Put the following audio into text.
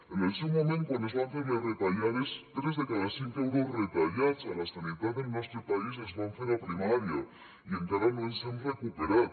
en el seu moment quan es van fer les retallades tres de cada cinc euros retallats a la sanitat del nostre país es van fer a primària i encara no ens hem recuperat